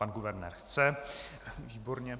Pan guvernér chce, výborně.